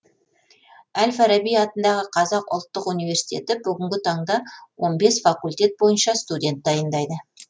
әл фараби атындағы қазақ ұлттық университеті бүгінгі таңда он бес факультет бойынша студент дайындайды